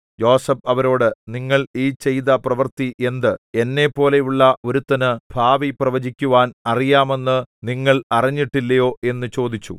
യോസേഫ് അവരോട് നിങ്ങൾ ഈ ചെയ്ത പ്രവൃത്തി എന്ത് എന്നെപ്പോലെയുള്ള ഒരുത്തനു ഭാവി പ്രവചിക്കുവാൻ അറിയാമെന്നു നിങ്ങൾ അറിഞ്ഞിട്ടില്ലയോ എന്നു ചോദിച്ചു